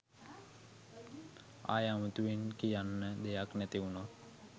ආයෙ අමුතුවෙන් කියන්න දෙයක් නැති වුනත්